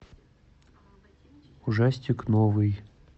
ужастик новый